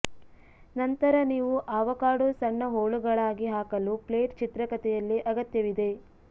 ನಂತರ ನೀವು ಆವಕಾಡೊ ಸಣ್ಣ ಹೋಳುಗಳಾಗಿ ಹಾಕಲು ಪ್ಲೇಟ್ ಚಿತ್ರಕಥೆಯಲ್ಲಿ ಅಗತ್ಯವಿದೆ